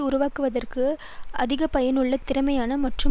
உருவாக்குவதற்கு அதிகபயனுள்ள திறமையான மற்றும்